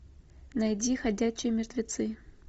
найди ходячие мертвецы